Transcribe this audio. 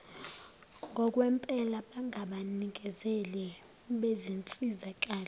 ngokwempela bangabanikezeli bezinsizakalo